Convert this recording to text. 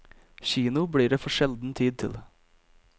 Kino blir det for sjelden tid til.